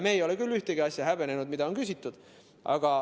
Meie ei ole küll ühtegi asja häbenenud, mille kohta on küsitud.